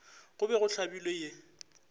go be go hlabilwe ye